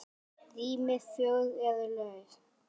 Rýmin fjögur eru laus.